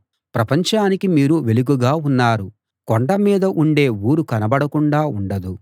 ప్రపంచానికి మీరు వెలుగుగా ఉన్నారు కొండ మీద ఉండే ఊరు కనబడకుండా ఉండదు